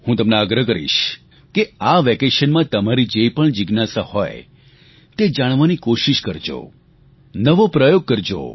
હું તમને આગ્રહ કરીશ કે આ વેકેશનમાં તમારી જે પણ જિજ્ઞાસા હોય તે જાણવાની કોશીશ કરજો નવો પ્રયોગ કરજો